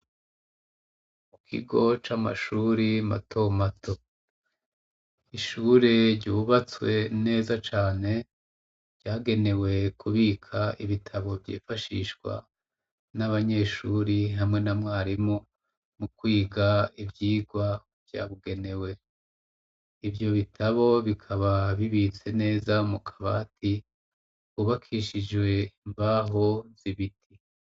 Mu kigo c'amashuri mato mato ishuri ryubatswe neza cane vyagenewe kubika ibitabo vyifashishwa n'abanyeshuri hamwe na mwarimu mu kwiga ivyirwa vyabugenewe ivyo bitabo bikaba bibitse neza mu kabati ubakishijwe mbaho zibiti.